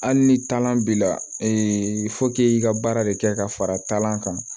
Hali ni taalan b'i la k'e ka baara de kɛ ka fara taalan kan